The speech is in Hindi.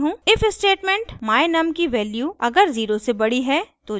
if स्टेटमेंट my_num की वैल्यू अगर 0 से बड़ी है तो जांचेगा